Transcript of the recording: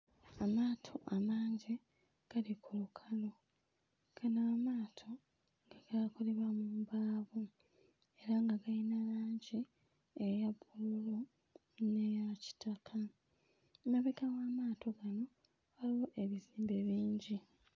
Amaato amangi gali ku lukalu. Gano amaato gaakolebwa mu mbaawo era nga gayina langi eya bbululu n'eya kitaka. Emabega w'amaato gano waliwo ebizimbe bingi.